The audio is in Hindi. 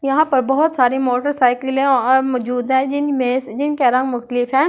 यहाँ पर बहुत सारे मोटरसाइकिले और मजूद है जिनमे जिन का रंग मुख्तलिफ है ।